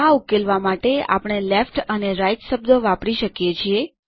આ ઉકેલવા માટે આપણે લેફ્ટ અને રાઇટ શબ્દો વાપરી શકીએ છીએ